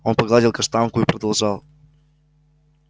он погладил каштанку и продолжал